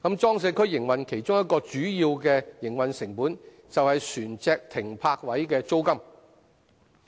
裝卸區營運商其中一項主要營運成本，是船隻停泊位的租金。